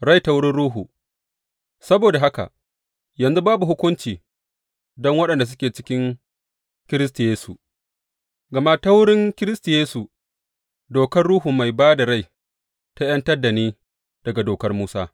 Rai ta wurin Ruhu Saboda haka, yanzu babu hukunci don waɗanda suke cikin Kiristi Yesu, gama ta wurin Kiristi Yesu dokar Ruhu mai ba da rai ta ’yantar da ni daga Dokar Musa.